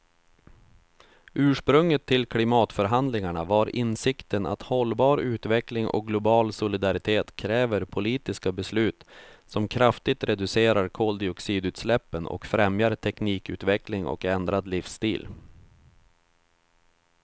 Ursprunget till klimatförhandlingarna var insikten att hållbar utveckling och global solidaritet kräver politiska beslut som kraftigt reducerar koldioxidutsläppen och främjar teknikutveckling och ändrad livsstil.